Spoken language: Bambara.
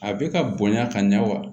A bɛ ka bonya ka ɲa wa